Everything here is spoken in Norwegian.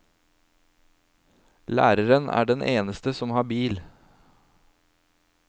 Læreren er den eneste som har bil.